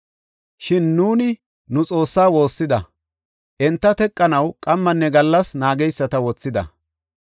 Shin nuuni nu Xoossaa woossida; enta teqanaw qammanne gallas naageysata wothida.